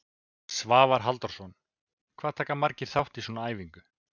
Svavar Halldórsson: Hvað taka margir þátt í svona æfingu?